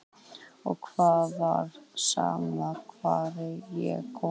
Og það var sama hvar ég kom.